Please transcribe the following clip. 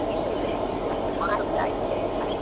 ಇಲ್ಲಇಲ್ಲ ಆಯ್ತು ಆಯ್ತು sir ಆಯ್ತು.